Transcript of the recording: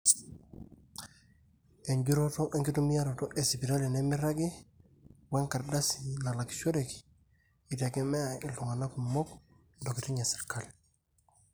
enjurroto enkitumiaroto esipitali nemeiragi wenkardasi nalakishoreki eitegemea iltung'anak kumok intokitin esirkali